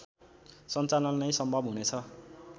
सञ्चालन नै सम्भव हुनेछ